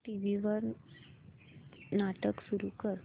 TV वर नाटक सुरू कर